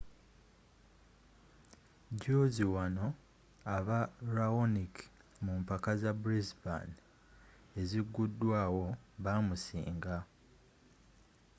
juuzi wano aba raonic mu mpaka za brisbane eziguddwawo baamusiinga